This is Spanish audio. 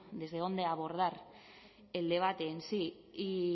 desde dónde abordar el debate en sí y